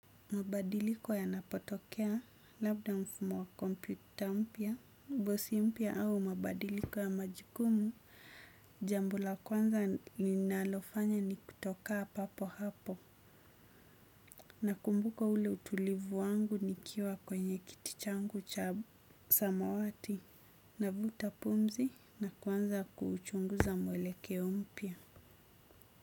Mabadiliko yanapotokea, labda mfumo wa kompyuta mpya, bosi mpya au mabadiliko ya majukumu, jambo la kwanza ninalofanya ni kutokaa papo hapo. Nakumbuka ule utulivu wangu nikiwa kwenye kiti changu cha samawati, navuta pumzi na kuanza kuchunguza mwelekeo mpya.